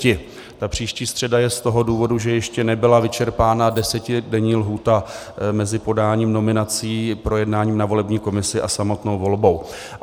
Ta příští středa je z toho důvodu, že ještě nebyla vyčerpána desetidenní lhůta mezi podáním nominací, projednáním ve volební komisi a samotnou volbou.